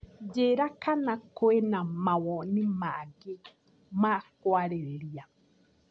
Njĩra kana kwĩna mawoni mangĩ ma kũarĩrĩria.